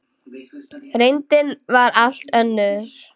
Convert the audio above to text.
Reyndin var allt önnur.